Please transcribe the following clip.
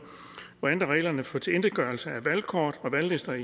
og at ændre reglerne for tilintetgørelse af valgkort og valglister